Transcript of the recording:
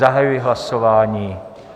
Zahajuji hlasování.